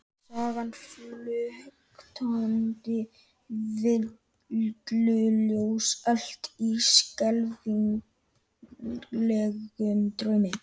Sagan flöktandi villuljós elt í skelfilegum draumi?